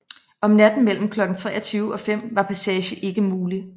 Om natten mellem klokken 23 og 5 var passage ikke mulig